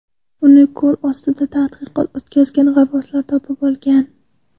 Uni ko‘l ostida tadqiqot o‘tkazgan g‘avvoslar topib olgan.